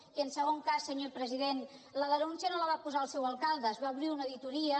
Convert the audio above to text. i en segon cas senyor president la denúncia no la va posar el seu alcalde es va obrir una auditoria